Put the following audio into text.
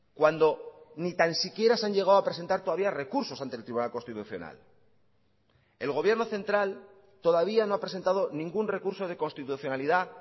cuando ni tan siquiera se han llegado a presentar todavía recursos ante el tribunal constitucional el gobierno central todavía no ha presentado ningún recurso de constitucionalidad